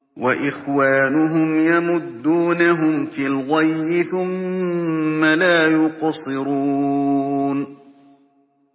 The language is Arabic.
وَإِخْوَانُهُمْ يَمُدُّونَهُمْ فِي الْغَيِّ ثُمَّ لَا يُقْصِرُونَ